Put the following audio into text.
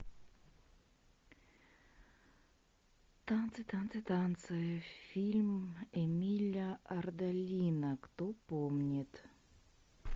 танцы танцы танцы фильм эмиля ардолино кто помнит